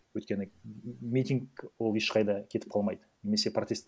өйткені митинг ол ешқайда кетіп қалмайды немесе протест